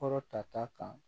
Kɔrɔ ta ta kan